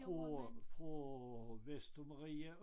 Fra fra Vestermarie